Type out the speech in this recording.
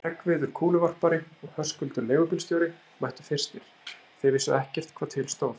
Hreggviður kúluvarpari og Höskuldur leigubílstjóri mættu fyrstir, þeir vissu ekkert hvað til stóð.